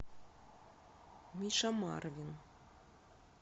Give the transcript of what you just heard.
миша марвин